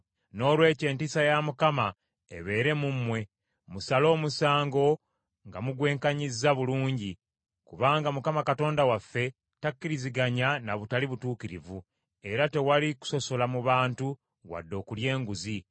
Noolwekyo entiisa ya Mukama ebeere mu mmwe, musale omusango nga mugwekanyizza bulungi, kubanga Mukama Katonda waffe takkiriziganya na butali butuukirivu, era tewali kusosola mu bantu wadde okulya enguzi.”